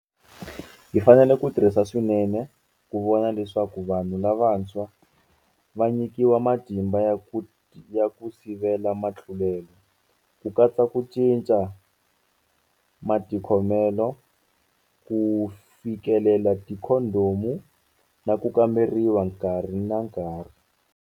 Hi fanele hi tirhisa swinene ku vona leswaku vanhu lavantshwa va nyikiwa matimba ya ku sivela mitlulelo, ku katsa ku cinca matikhomelo, ku fi kelela tikhondhomu na ku kamberiwa nkarhi na nkarhi.